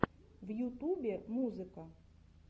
в ютубе музыка